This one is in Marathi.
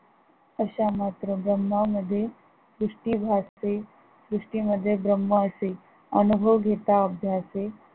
अशा मात्र ब्रम्हामध्ये सृष्टी भासते, सृष्टीमध्ये ब्रम्ह असे अनुभव घेता अभ्यासें